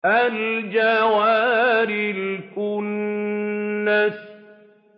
الْجَوَارِ الْكُنَّسِ